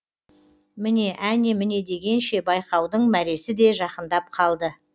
міне әне міне дегенше байқаудың мәресіде жақындап қалды